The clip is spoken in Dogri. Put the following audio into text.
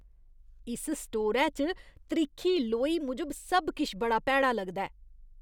इस स्टोरै च त्रिक्खी लोई मूजब सब किश बड़ा भैड़ा लगदा ऐ।